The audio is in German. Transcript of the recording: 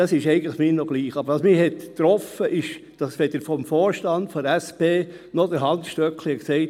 – Das ist mir eigentlich noch egal, aber was mich getroffen hat, ist, dass weder vonseiten des Vorstands der SP noch von Hans Stöckli gesagt wurde: